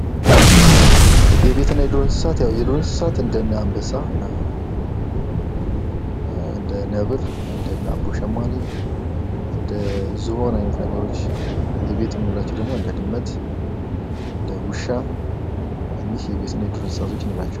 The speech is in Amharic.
የቤት እና የዱር እንስሳት ያው የዱር እንስሳት እንደነ አንበሳ እንደ ነብር እንደነ አቦሸማኔ እንደዝሆን አይነት ነገሮች የቤት የምንላቸው ደግሞ እንደ ድመት እንደዉሻ እኚህ የቤት እና የዱር እንስሳ እንላቸዋለን::